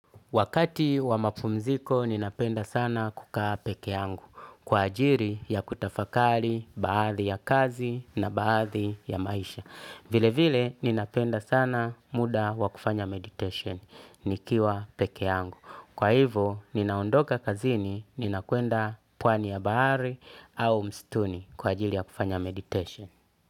Wakati wa mapumziko ninapenda sana kukaa peke yangu kwa ajiri ya kutafakali, baadhi ya kazi na baadhi ya maisha. Vile vile ninapenda sana muda wakufanya meditation nikiwa peke yangu. Kwa hivo ninaondoka kazini ninakuenda pwani ya bahari au mstuni kwa ajiri ya kufanya meditation.